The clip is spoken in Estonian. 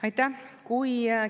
Aitäh!